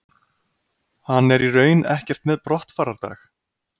Hann er í raun ekkert með brottfarardag.